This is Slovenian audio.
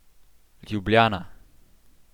Ljubljana.